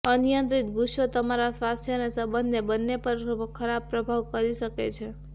અનિયંત્રિત ગુસ્સો તમારા સ્વાસ્થ્ય અને સંબંધને બંને પર ખરાબ પ્રભાવ કરી શકે છે